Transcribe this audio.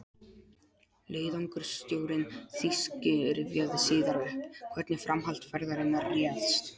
Leiðangursstjórinn þýski rifjaði síðar upp, hvernig framhald ferðarinnar réðst.